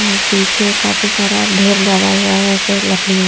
और पीछे काफी सारा ढेर लगा हुआ हैं ऐसे लकड़ियों--